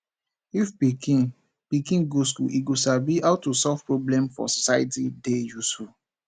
if pikin pikin go school e go sabi how to solve problem for society dey useful